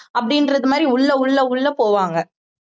அப்படின்றது மாதிரி உள்ள உள்ள உள்ள போவாங்க